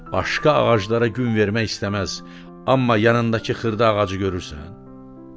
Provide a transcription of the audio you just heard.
Başqa ağaclara gün vermək istəməz, amma yanındakı xırda ağacı görürsən?